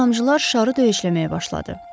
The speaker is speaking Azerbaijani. İri damcılar şarı döyəcləməyə başladı.